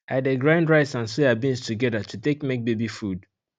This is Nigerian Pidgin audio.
i de grind rice and soybeans together to take make baby food